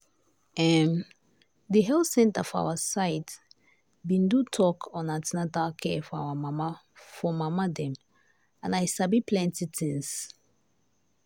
em the health center for our side been do talk on an ten atal care for care for mama dem and i sabi plenty things.